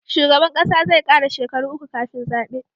Shugaban ƙasa zai kara shekara uku kafin zabe